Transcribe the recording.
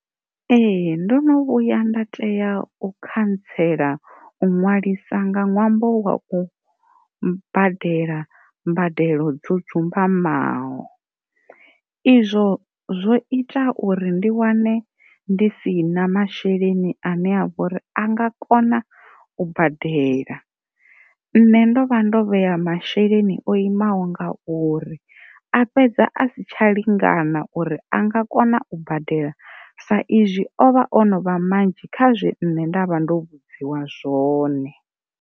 Ee ndo no vhuya nda tea u khantsela u nwalisa nga ṅwambo wa u badela mbadelo dzo dzumbamaho, izwo zwo ita uri ndi wane ndi si na masheleni ane a vho uri a nga kona u badela nṋe ndo vha ndo vheya masheleni o imaho nga uri a fhedza a si tsha lingana uri a nga kona u badela sa izwi o vha ono vha manzhi kha zwe nṋe nda vha ndo vhudziwa zwone.